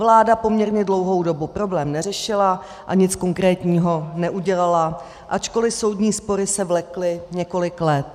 Vláda poměrně dlouhou dobu problém neřešila a nic konkrétního neudělala, ačkoliv soudní spory se vlekly několik let.